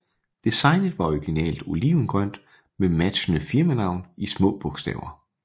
Designet var originalt olivengrønt med matchende firmanavn i små bogstaver